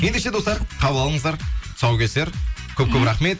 ендеше достар қабыл алыңыздар тұсаукесер көп көп рахмет